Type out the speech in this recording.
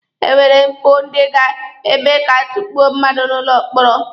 E nwere mpụ ndị ga-eme ka a tukpuo mmadụ n'ụlọ mkpọrọ.